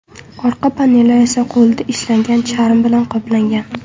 Orqa paneli esa qo‘lda ishlangan charm bilan qoplangan.